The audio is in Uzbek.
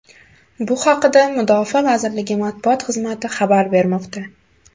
Bu haqda Mudofaa vazirligi matbuot xizmati xabar bermoqda .